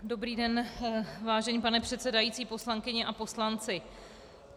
Dobrý den, vážený pane předsedající, poslankyně a poslanci.